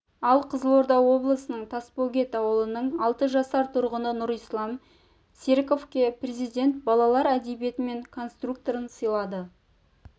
ал қызылорда облысының тасбөгет ауылының алты жасар тұрғыны нұрислам серіковке президент балалар әдебиеті мен конструкторын сыйлады